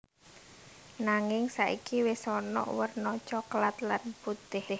Nanging saiki wis ana wèrna coklat lan putih